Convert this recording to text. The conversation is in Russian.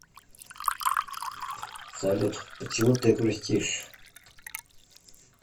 салют почему ты грустишь